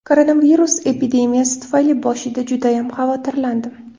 Koronavirus epidemiyasi tufayli boshida judayam xavotirlandim.